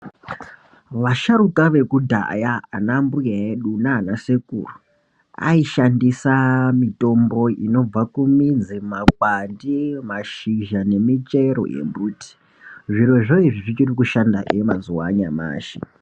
Vasharuka vekudhaya anambuya edu naana sekuru aishandisa mitombo inobva kumidzi, makwati , mashizha nemichero yembiti zvirozvo izvi zvichirikushandahe mazuva anyamashi.